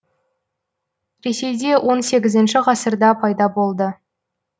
ресейде он сегізінші пайда болды